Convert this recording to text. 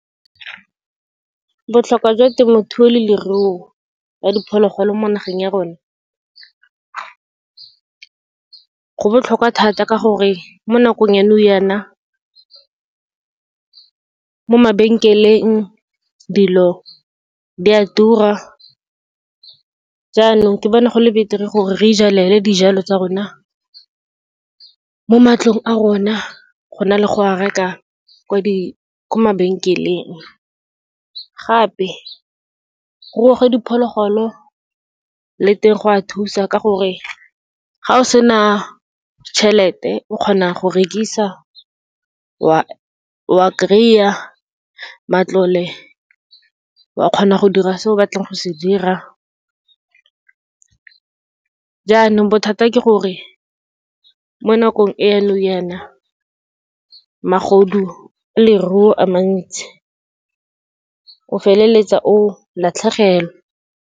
Botlhokwa jwa temothuo le leruo ya diphologolo mo nageng ya rona, go botlhokwa thata, ka gore mo nakong ya nou yaana, mo mabenkeleng dilo di a tura. Jaanong ke bona go le beter-e gore re ijalele dijalo tsa rona mo matlong a rona, go na le go reka ko mabenkeleng. Gape, go diphologolo le teng go a thusa, ka gore ga o sena tšhelete o kgona go rekisa wa kry-a matlole wa kgona go dira se o batlang go se dira. Jaanong bothata ke gore, mo nakong ya nou yaana, magodu a leruo a mantsi, o feleletsa o latlhegelwa.